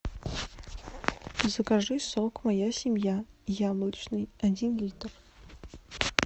закажи сок моя семья яблочный один литр